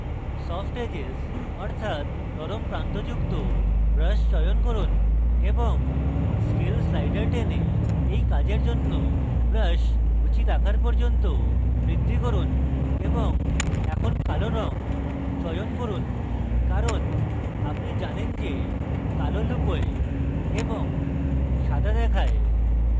soft edges অর্থাৎ নরম প্রান্ত যুক্ত brush চয়ন করুন এবং scale slider টেনে এই কাজের জন্য brush উচিত আকার পর্যন্ত বাড়ান এবং এখন কালো রঙ চয়ন করুন কারণ আপনি জানেন যে কালো লুকোয় এবং সাদা দেখায়